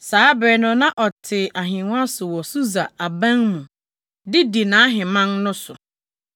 Saa bere no na ɔte ahengua so wɔ Susa aban mu de di nʼahemman no so.